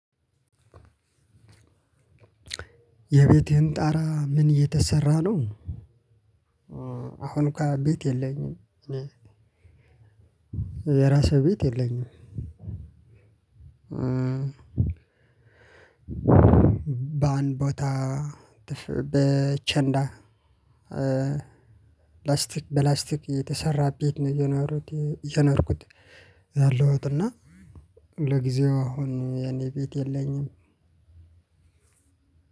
የቤቴን ጣራ ምን እየተሰራ ነው አሁን እንኳን ቤት የለኝም የራሱ ቤት የለኝም። በአንድ ቦታ በቸንዳ ላስቲክ በላስቲክ የተሰራ ቤት ነው የኖሩት የኖርኩት ያለሁት እና ለጊዜው አሁን የኔ ቤት የለኝም።